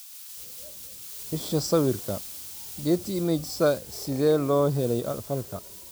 Isha sawirka, Getty Images Sidee loo helay falka?